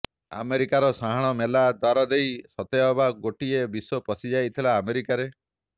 ଆମେରିକାର ସାହାଣମେଲା ଦ୍ବାର ଦେଇ ସତେ ଅବା ଗୋଟିଏ ବିଶ୍ବ ପଶିଯାଇଥିଲା ଆମେରିକାରେ